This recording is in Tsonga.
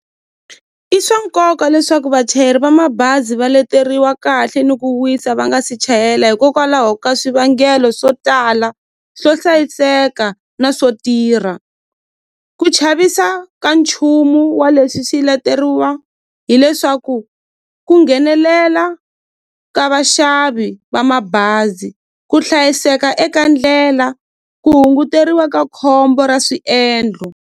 I swa nkoka leswaku vachayeri va mabazi va leteriwa kahle ni ku wisa va nga si chayela hikokwalaho ka swivangelo swo tala swo hlayiseka na swo tirha ku chavisa ka nchumu wa leswi swi lateriwa hileswaku ku nghenelela ka vaxavi va mabazi ku hlayiseka eka ndlela ku hunguteriwa ka khombo ra swiendlo.